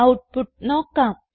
output നോക്കാം